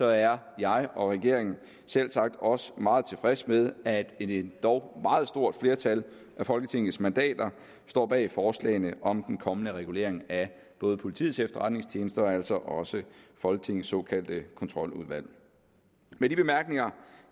er jeg og regeringen selvsagt også meget tilfredse med at et endog meget stort flertal af folketingets mandater står bag forslagene om den kommende regulering af både politiets efterretningstjeneste og altså også folketingets såkaldte kontroludvalg med de bemærkninger